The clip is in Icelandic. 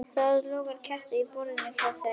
Það logaði á kerti á borðinu hjá þeim.